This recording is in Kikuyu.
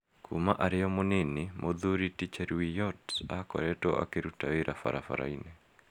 Kuuma arĩ o mũnini, Muthuri ti Cheruiyot aakoretwo akĩruta wĩra barabara-inĩ.